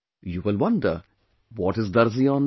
You will wonder what is Darzi online